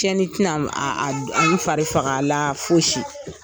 Cɛnnin tɛna a a an fari faga la foyi si.